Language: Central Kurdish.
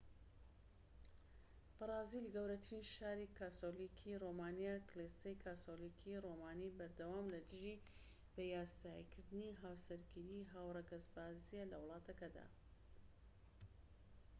بەرازیل گەورەترین شاری کاسۆلیکی رۆمانیە کڵێسەی کاسۆلیکی رۆمانی بەردەوام لە دژی بەیاسایی کردنی هاوسەرگیری هاوڕەگەزبازیە لە وڵاتەکەدا